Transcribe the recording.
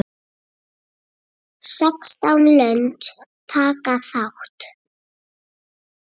Sextán lönd taka þátt.